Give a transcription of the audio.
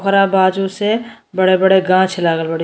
हरा बाजो से बड़े बड़े गाछ लागल बाड़ी।